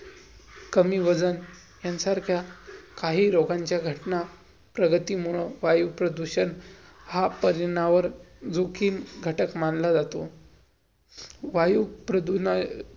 कमी वजन ह्यांसारख्या की रोगांच्या घटना प्रगतीमुळं, वायूप्रदूषण हा परिनावर जो की घटक मानला जातो. वायू प्रदूण अं